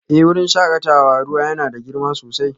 Eh wurin shakatawar ruwa yana da girma sosai